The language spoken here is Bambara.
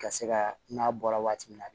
Ka se ka n'a bɔra waati min na